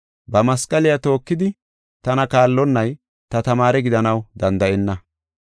Ba masqaliya tookidi tana kaallonnay ta tamaare gidanaw danda7enna.